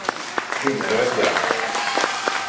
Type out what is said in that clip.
Finnerödja